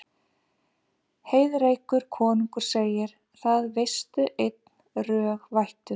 Heiðrekur konungur segir: Það veistu einn, rög vættur